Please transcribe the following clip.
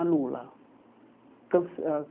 Anula. Cance